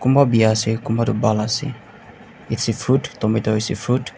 kunba biya ase kunba tu bhal ase its a fruit tomato is a fruit .